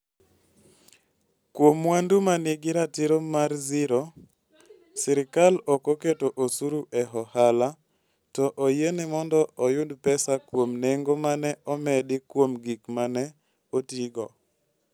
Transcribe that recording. Kuom mwandu ma nigi ratiro mar zero, sirkal ok oketo osuru e ohala, to oyiene mondo oyud pesa kuom nengo ma ne omedi kuom gik ma ne otigo.